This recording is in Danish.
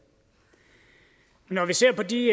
når vi ser på de